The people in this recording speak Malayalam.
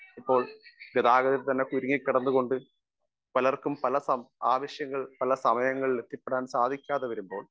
സ്പീക്കർ 1 ഇപ്പോൾ ഗതാഗതത്തിൽ തന്നെ കുരുങ്ങിക്കിടന്നുകൊണ്ട് പലർക്കും പല ആവശ്യങ്ങൾ പല സമയങ്ങളിൽ എത്തിപ്പെടാൻ സാധിക്കാതെ വരുമ്പോൾ